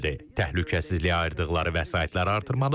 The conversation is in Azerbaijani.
Təhlükəsizliyə ayırdıqları vəsaitləri artırmalıdırlar.